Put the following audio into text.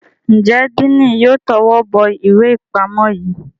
Njé Diini yóò towó bó ìwé ipamọ yí?